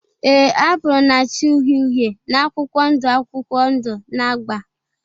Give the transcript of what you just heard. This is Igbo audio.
ee, apụl na-acha uhie uhie na akwụkwọ ndụ akwụkwọ ndụ na agba.